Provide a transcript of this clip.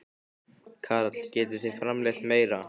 Karl: Getið þið framleitt meira?